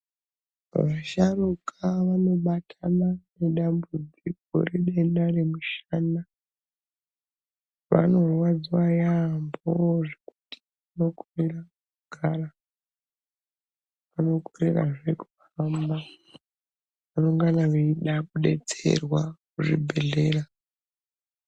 Vasharuka vanobatana nedambudziko redenda remushana vanorwadziwa yamhoo zvekuti vanokorera kugara vanokorerazve kuhamba vanongana vachida kudetserwa kuzvibhehleya.